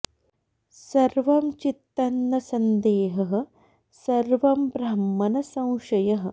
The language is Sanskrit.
सर्वं चित्तं न सन्देहः सर्वं ब्रह्म न संशयः